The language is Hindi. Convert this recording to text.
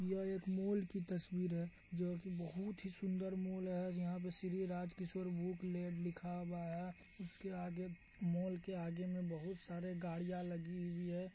यह एक मॉल की तस्वीर है जो की बहुत ही सुंदर मॉल है आज यहाँ पे श्री राज किशोर बुकलेट लिखा हुआ है उसके आगे मॉल के आगे में बहुत सारे गाड़िया लगी हुई है ।